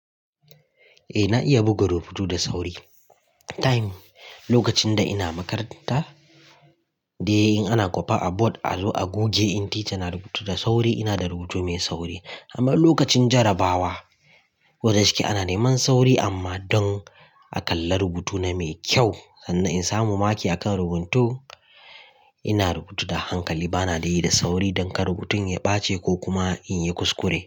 Eh na iya buga rubutu da sauri. Time, lokacin da ina makaranta, dai in ana kwafa a board a zo a goge in teacher na rubutu da sauri ina da rubutu mai sauri. Amma lokacin jarabawa, wajen ciki ana neman sauri amma don a kalla rubutuna me kyau sannan in samu maki akan rubutu ina rubutu da hankali bana da yi da sauri don kar rubutun ya ɓace ko kuma in yi kuskure.